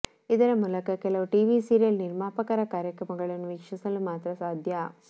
ಇದರ ಮೂಲಕ ಕೆಲವು ಟಿವಿ ಸೀರಿಯಲ್ ನಿರ್ಮಾಪಕರ ಕಾರ್ಯಕ್ರಮಗಳನ್ನು ವೀಕ್ಷಿಸಲು ಮಾತ್ರಾ ಸಾಧ್ಯ